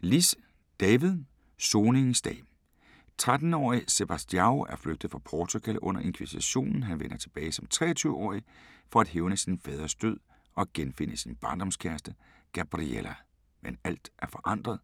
Liss, David: Soningens dag 13 årige Sebastião er flygtet fra Portugal under inkvisitionen. Han vender tilbage som 23 årig for at hævne sin faders død og genfinde sin barndomskæreste, Gabriela. Men alt er forandret.